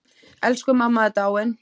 Elsku mamma er dáin.